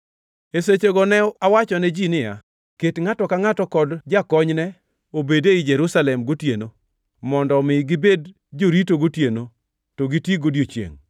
E sechego ne awachone ji niya, “Ket ngʼato ka ngʼato kod jakonyne obed ei Jerusalem gotieno, mondo omi gibed jorito gotieno, to giti godiechiengʼ.”